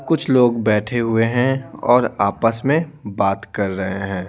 कुछ लोग बैठे हुए हैं और आपस में बात कर रहे हैं।